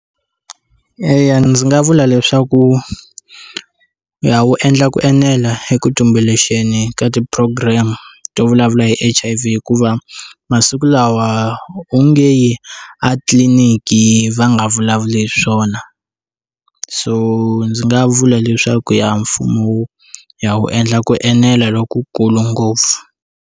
Eya, ndzi nga vula leswaku ya wu endla ku enela eka ku tumbuluxeni ka ti program-e to vulavula hi H_I_V hikuva masiku lawa o nge a tliliniki va nga vulavuli hi swona so ndzi nga vula leswaku ya mfumo wu ya wu endla ku enela lokukulu ngopfu.